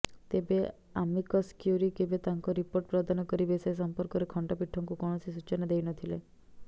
ତେବେ amicus curiae କେବେ ତାଙ୍କ ରିପୋର୍ଟ ପ୍ରଦାନ କରିବେ ସେ ସଂପର୍କରେ ଖଣ୍ଡପୀଠଙ୍କୁ କୌଣସି ସୂଚନା ଦେଇନଥିଲେ